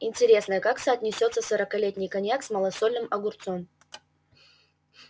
интересно как соотнесется сорокалетний коньяк с малосольным огурцом